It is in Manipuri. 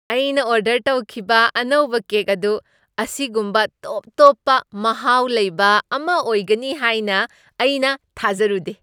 ꯑꯩꯅ ꯑꯣꯔꯗꯔ ꯇꯧꯈꯤꯕ ꯑꯅꯧꯕ ꯀꯦꯛ ꯑꯗꯨ ꯑꯁꯤꯒꯨꯝꯕ ꯇꯣꯞ ꯇꯣꯞꯄ ꯃꯍꯥꯎ ꯂꯩꯕ ꯑꯃ ꯑꯣꯏꯒꯅꯤ ꯍꯥꯏꯅ ꯑꯩꯅ ꯊꯥꯖꯔꯨꯗꯦ!